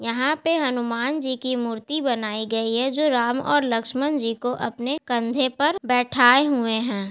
यहां पे हनुमान जी की मूर्ति बनाई गयी है जो राम और लक्ष्मण जी को अपने कंधे पर बैठाए हुए है।